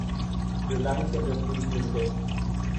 Reliance Industries limited